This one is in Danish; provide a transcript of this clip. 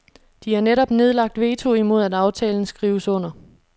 De har netop nedlagt veto imod at aftalen skrives under.